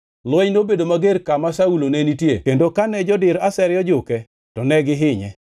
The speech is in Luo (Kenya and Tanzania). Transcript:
Lweny nobedo mager kama Saulo ne nitie kendo kane jodir asere ojuke, to ne gihinye.